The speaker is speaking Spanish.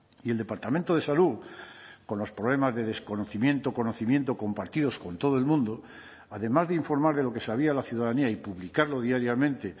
y el departamento de salud con los problemas de desconocimiento conocimiento compartidos con todo el mundo además de informar de lo que sabía la ciudadanía y publicarlo diariamente